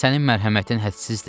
Sənin mərhəmətin hədsizdir.